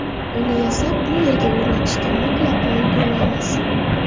Uni yasab bu yerga o‘rnatishga mutlaqo ulgurmaymiz.